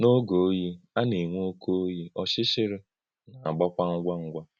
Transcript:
N’ógè̄ òyí̄, à nā-ènwè̄ òkè̄ òyí̄, ọ̀chịchị̄rí̄ nā-àgbàkwà ngwá ngwá.